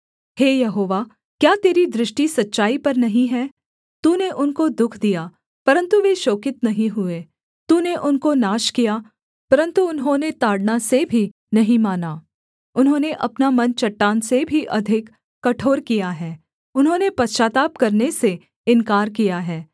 हे यहोवा क्या तेरी दृष्टि सच्चाई पर नहीं है तूने उनको दुःख दिया परन्तु वे शोकित नहीं हुए तूने उनको नाश किया परन्तु उन्होंने ताड़ना से भी नहीं माना उन्होंने अपना मन चट्टान से भी अधिक कठोर किया है उन्होंने पश्चाताप करने से इन्कार किया है